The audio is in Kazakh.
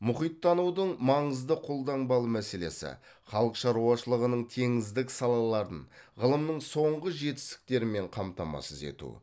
мұхиттанудың маңызды қолданбалы мәселесі халық шаруашылығының теңіздік салаларын ғылымның соңғы жетістіктерімен қамтамасыз ету